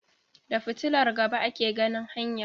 Da Fitilar gaba ake ganin hanya